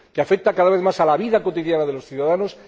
que afecta cada vez más a la vida cotidiana de los ciudadanos